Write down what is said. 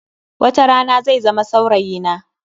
Watarana zai zama saurayi na.